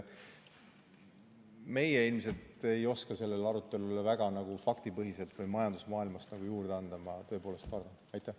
Meie ilmselt ei oska sellele arutelule väga faktipõhiselt või majandusmaailmast midagi juurde anda, ma tõepoolest arvan nii.